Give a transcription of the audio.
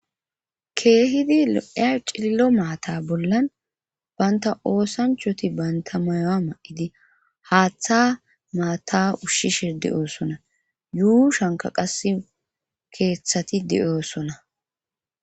keehidi lo7eya cilllo maata bollan baynta oosanchoti banta mayo7a ma7idi haaththa maata ushshi shirdi oosona yuu shanka qas keeththati di7oosona